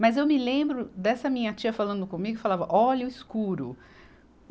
Mas eu me lembro dessa minha tia falando comigo e falava, olha o escuro.